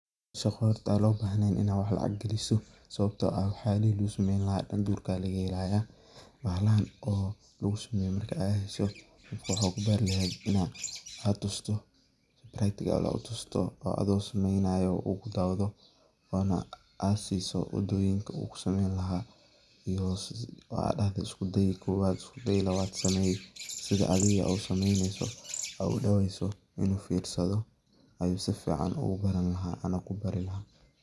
Soo horta an lo bahnen inaad wax lacag ah galiso wayo sababto ah wax yalihi lo sumeynayo u kudacdo oo isku day kowad ama labad ama wadoyinka u kusimeyni lahaa ama mida kale oo ana kubari laha.